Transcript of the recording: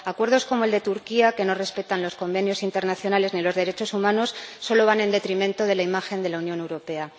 Acuerdos como el de Turquía, que no respetan los convenios internacionales ni los derechos humanos, solo van en detrimento de la imagen de la Unión Europea.